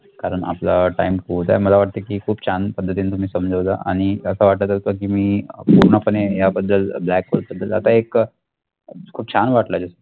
कारण आपला time होत आहे मला वाटत की खूप छान पद्धतीनी तुम्ही समजवल आणि अस वाटत होत की मी पूर्णपणे या बद्दल black hole बद्दल आता एक खूप छान वाटल